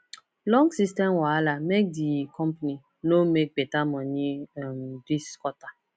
long system wahala make di company no make better money um this quarter